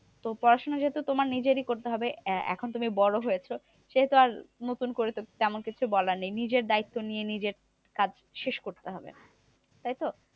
তো পড়াশোনা যেহেতু তোমার নিজেরই করতে হবে। এ এখন তুমি বড়ো হয়েছে সেহেতু আর নতুন করে তো তেমন কিছু বলার নেই। নিজের দায়িত্ব নিয়ে নিজের কাজ শেষ করতে হবে, তাইতো?